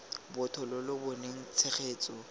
botho lo lo boneng tshegetso